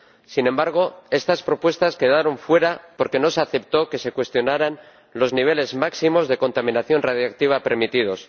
Sin embargo, estas propuestas quedaron fuera, porque no se aceptó que se cuestionaran los niveles máximos de contaminación radiactiva permitidos.